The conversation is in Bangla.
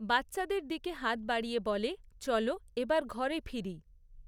বাচ্চাদের দিকে হাত বাড়িয়ে বলে, চলো, এবার ঘরে ফিরি।